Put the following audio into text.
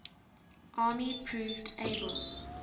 army proved able